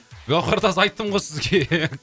гаухартас айттым ғой сізге